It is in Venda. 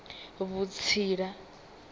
vhutsila